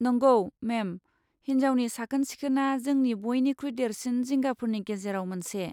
नंगौ, मेम, हिनजावनि साखोन सिखोनआ जोंनि बइनिख्रुइ देरसिन जिंगाफोरनि गेजेराव मोनसे।